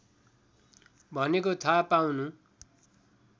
भनेको थाहा पाउनु